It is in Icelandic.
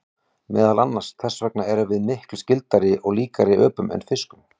Meðal annars þess vegna erum við miklu skyldari og líkari öpum en fiskum.